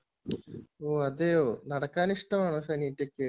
ഓ അതെയോ നടക്കാൻ ഇഷ്ടമാണോ ഫെനീറ്റയ്ക് ?